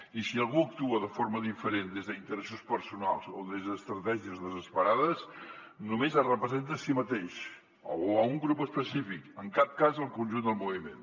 i si algú actua de forma diferent des d’interessos personals o des d’estratègies desesperades només es representa a si mateix o un grup específic en cap cas el conjunt del moviment